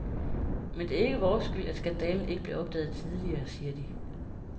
Men det er ikke vores skyld, at skandalen ikke blev opdaget tidligere, siger de.